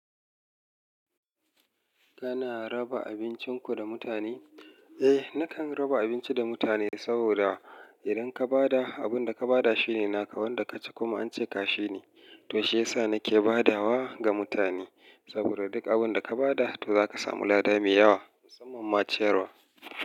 Kana raba abincin ku da mutane? Eh, nakan raba abinci da mutane, saboda idan ka ba da abin da ka ba da shi ne naka, wanda ka ci kuma an ce ka shi ne. To shiyasa nake badawa ga mutane, saboda duk abin da ka ba da, to za ka samu lada mai yawa musamman ma ciyarwa.